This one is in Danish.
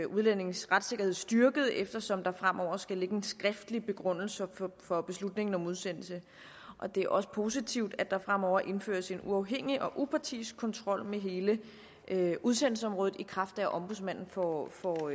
udlændings retssikkerhed styrket eftersom der fremover skal ligge en skriftlig begrundelse for beslutningen om udsendelse og det er også positivt at der fremover indføres en uafhængig og upartisk kontrol med hele udsendelsesområdet i kraft af at ombudsmanden får får